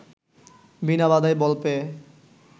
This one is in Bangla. বিনা বাধায় বল পেয়ে